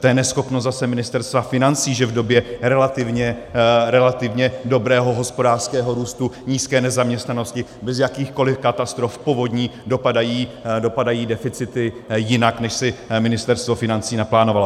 To je neschopnost zase Ministerstva financí, že v době relativně dobrého hospodářského růstu, nízké nezaměstnanosti, bez jakýchkoli katastrof, povodní dopadají deficity jinak, než si Ministerstvo financí naplánovalo.